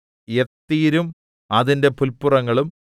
യത്ഥീരും അതിന്റെ പുല്പുറങ്ങളും